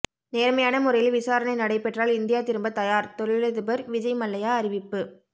நேர்மையான முறையில் விசாரணை நடைபெற்றால் இந்தியா திரும்ப தயார் தொழிலதிபர் விஜய் மல்லையா அறிவிப்பு